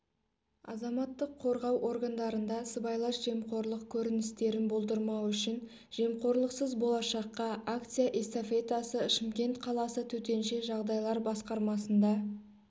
азаматтық қорғау органдарында сыбайлас жемқорлық көріністерін болдырмау үшін жемқорлықсыз болашаққа акция-эстафетасы шымкент қаласы төтенше жағдайлар басқармасында